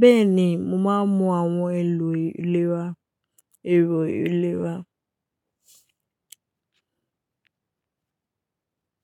Bẹ́ẹ̀ ni, mo máa ń mú àwọn èèlò ìlera. Èrò ìlera.